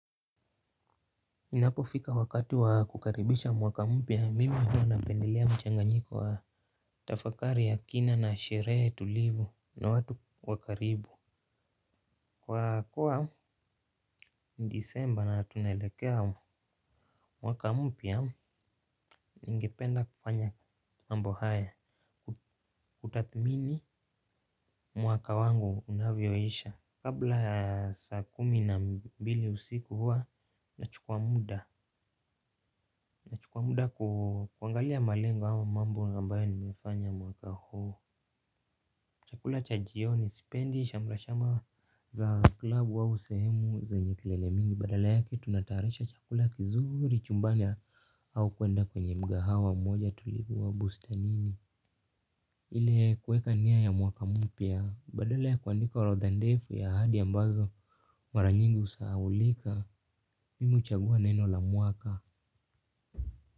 Inapofika wakati wa kukaribisha mwaka mpya mimi huwa napendelea mchanganyiko wa tafakari ya kina na sherehe tulivu na watu wa karibu. Kwa kuwa Disemba na tunaelekea mwaka mpya ningependa kufanya mambo haya. Kutathmini mwaka wangu unavyoisha, kabla ya saa kumi na mbili usiku huwa nachukwa muda kwa muda kuangalia malengo ua mambo ambayo nimefanya mwaka huo. Chakula cha jioni sipendi sharma sharma za klabu au sehemu zenye kilele mingi. Badala yake tunatayarisha chakula kizuri chumbani au kuenda kwenye mkahawa mmoja. Tulikuwa bustanini. Ile kuweka niya ya mwaka mpya badala ya kuandika ya orodha ndefu ya ahadi ambazo mara nyingi husahulika mimi huchagua neno la mwaka.